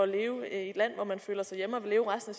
leve i et land hvor man føler sig hjemme og vil leve resten